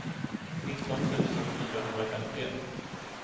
nitton tusen fyrahundrafemtioett